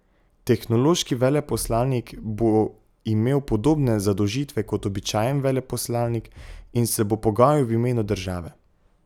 Tehnološki veleposlanik bo imel podobne zadolžitve kot običajen veleposlanik in se bo pogajal v imenu države.